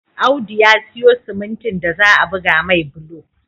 Audu ya siyo simintin da za'a buga mai bulo